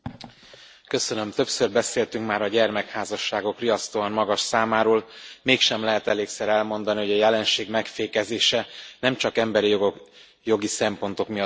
Elnök Úr! Többször beszéltünk már a gyermekházasságok riasztóan magas számáról, mégsem lehet elégszer elmondani, hogy a jelenség megfékezése nem csak emberi jogi szempontok miatt fontos.